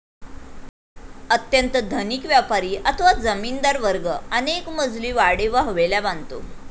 अत्यंत धनिक व्यापारी अथवा जमीनदार वर्ग अनेकमजली वाडे व हवेल्या बांधतो.